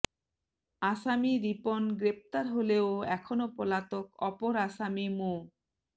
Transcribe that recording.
আসামি রিপন গ্রেফতার হলেও এখনও পলাতক অপর আসামি মো